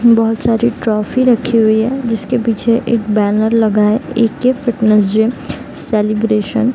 बहोत सारे ट्रॉफी रखी हुई है जिसके पीछे एक बैनर लगा है ए.के. Fitness gym celebration.